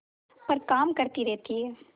पर काम करती रहती है